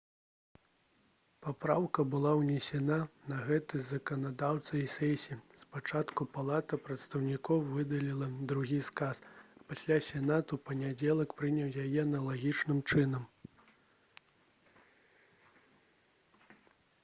папраўка была ўнесена на гэтай заканадаўчай сесіі спачатку палата прадстаўнікоў выдаліла другі сказ а пасля сенат у панядзелак прыняў яе аналагічным чынам